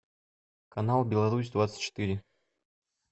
канал беларусь двадцать четыре